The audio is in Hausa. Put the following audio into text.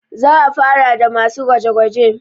za a fara da masu gwaje -gwaje